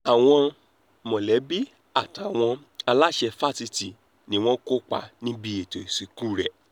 àwọn mọ̀lẹ́bí àtàwọn aláṣẹ fásitì ni wọ́n kópa níbi ètò ìsìnkú rẹ̀